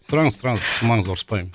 сұраңыз сұраңыз қысылмаңыз ұрыспаймын